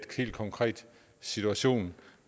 helt konkret situation